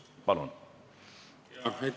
Palun!